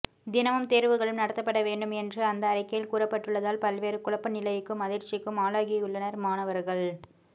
தினமும் தேர்வுகளும் நடத்தப்பட வேண்டும் என்று அந்த அறிக்கையில் கூறப்பட்டுள்ளதால் பல்வேறு குழப்ப நிலைக்கும் அதிர்ச்சிக்கும் ஆளாகியுள்ளனர் மாணவர்கள்